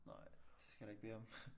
Nej det skal du ikke bede om